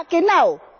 Ja, genau!